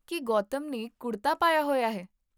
ਕੀ ਗੌਤਮ ਨੇ ਕੁੜਤਾ ਪਾਇਆ ਹੋਇਆ ਹੈ?